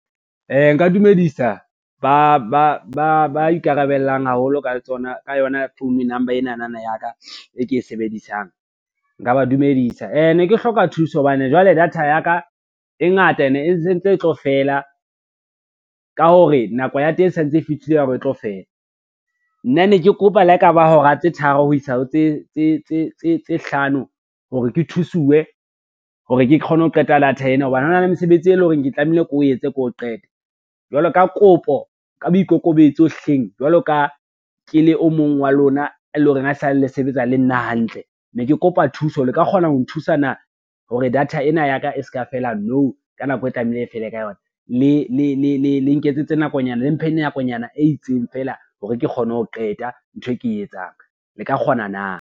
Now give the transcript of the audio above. Nka ka dumedisa ba ikarabellang haholo ka yona phone number enana ya ka e ke e sebedisang, nka ba dumedisa. Ne ke hloka thuso hobane jwale data ya ka e ngata ene e sentse e tlo fela ka hore nako ya teng e sentse e fihlile ya hore e tlo fela. Nna ne ke kopa le ha ekaba hora tse tharo ho isa ho tse hlano hore ke thusuwe hore ke kgone ho qeta data ena hobane hona le mesebetsi e lo reng ke tlamehile ke o etse ko qete, jwalo ka kopo ka boikokobetso hleng jwalo ka ke le o mong wa lona, e lo reng a sa le sebetsa le nna hantle. Ne ke kopa thuso le ka kgona ho nthusana hore data eo nna yaka e ska fela nou ka nako e tlamehile e fele ka yona le nketsetse nakonyana, le mphe nakonyana e itseng fela hore ke kgone ho qeta ntho e ke e etsang le ka kgona na.